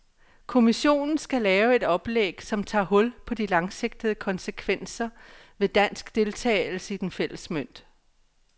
Kommissionen skal lave et oplæg, som tager hul på de langsigtede konsekvenser ved dansk deltagelse i den fælles mønt.